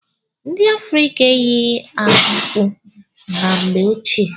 Ndị Afrịka eyighi akpukwu na mgbe ọchịe.